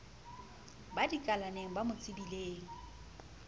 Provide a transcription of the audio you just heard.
ba dikalaneng ba mo tsebileng